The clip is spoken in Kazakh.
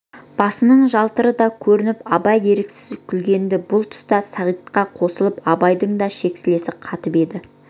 басының жалтыры да көрініп абай еріксіз күлгенді бұл тұста сағитқа қосылып абайдың да шексілесі қатып еді